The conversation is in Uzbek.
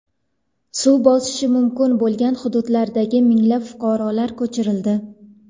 Suv bosishi mumkin bo‘lgan hududlardagi minglab fuqarolar ko‘chirildi .